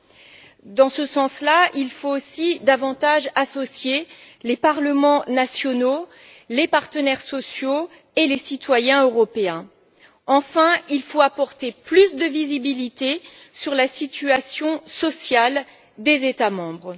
Pour ce faire, il faut aussi associer davantage les parlements nationaux, les partenaires sociaux et les citoyens européens. Enfin, il faut apporter plus de visibilité sur la situation sociale des États membres.